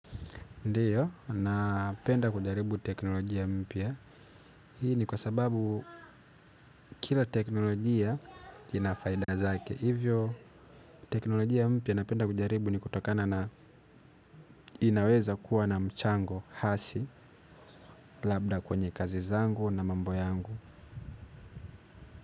Ndiyo, napenda kujaribu teknolojia mpya. Hii ni kwa sababu kila teknolojia inafaida zake. Hivyo, teknolojia mpya napenda kujaribu ni kutokana na inaweza kuwa na mchango hasi labda kwenye kazi zangu na mambo yangu.